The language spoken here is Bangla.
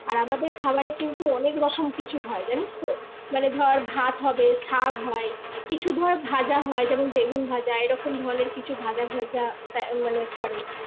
আর আমাদের খাবারে কিন্তু অনেক রকম কিছু হয় জানিস তো মানে ধর ভাত হবে শাক হয় কিছু ধর ভাজা হয় যেমন বেগুন ভাজা এরকম ধরনের কিছু ভাজা ভাজা আহ মানে করে